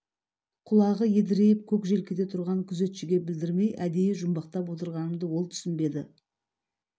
құлағы едірейіп көк желкеде тұрған күзетшіге білдірмей әдейі жұмбақтап отырғанымды ол түсінбеді